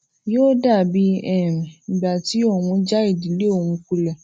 yóò dàbí um ìgbà tí òun já ìdílé òun kulè